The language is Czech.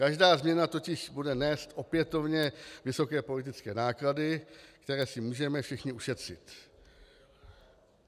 Každá změna totiž bude nést opětovně vysoké politické náklady, které si můžeme všichni ušetřit.